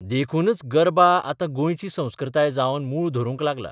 देखूनच गरबा आतां गोंयची संस्कृताय जावन मूळ धरूंक लागला.